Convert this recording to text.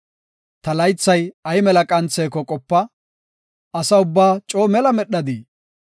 Ta laythay ay mela qantheko qopa; asa ubbaa coo mela medhadi!